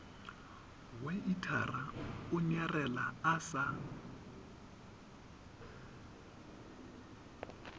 weithara o nyarela a sa